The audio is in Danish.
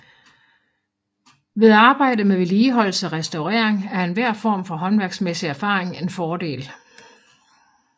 Ved arbejde med vedligeholdelse og restaurering er enhver form for håndværksmæssig erfaring en fordel